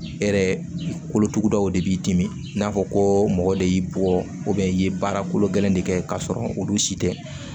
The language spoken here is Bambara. E yɛrɛ kolotugudaw de b'i dimi i n'a fɔ ko mɔgɔ de y'i bɔ i ye baara kolo gɛlɛn de kɛ k'a sɔrɔ olu si tɛ